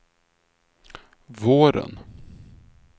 våren